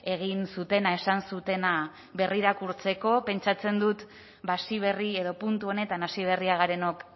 egin zutena esan zutena berrirakurtzeko pentsatzen dut ba hasi berri edo puntu honetan hasi berria garenok